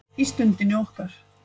Í Stundinni okkar.